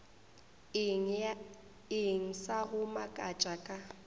eng sa go makatša ka